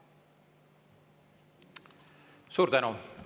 Suur tänu!